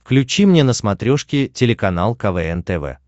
включи мне на смотрешке телеканал квн тв